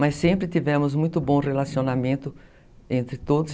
Mas sempre tivemos muito bom relacionamento entre todos.